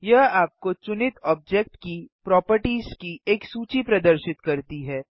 यह आपको चुनित ऑब्जेक्ट की प्रोपर्टिज की एक सूची प्रदर्शित करती है